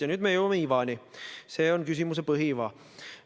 Ja nüüd me jõuame ivani, see on küsimuse põhiiva.